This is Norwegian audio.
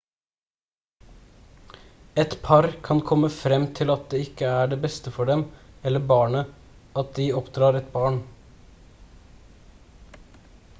et par kan komme frem til at det ikke er det beste for dem eller barnet at de oppdrar et barn